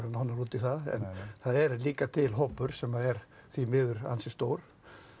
nánar út í það en það er líka til hópur sem því miður ansi stór